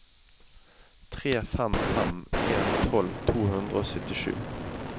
tre fem fem en tolv to hundre og syttisju